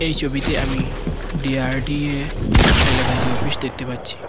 এই ছবিতে আমি ডি_আর_ডি_এ হাইলাকান্দি অফিস দেখতে পাচ্ছি।